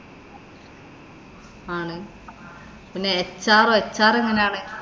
ആണ്. പിന്നെ HRHR എങ്ങനാണ്?